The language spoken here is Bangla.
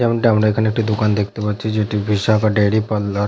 যেমনটা আমরা এখানে একটি দোকান দেখতে পাচ্ছি যেটি বিশাখা ডেইরি পার্লার ।